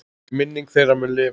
Minning þeirra mun lifa.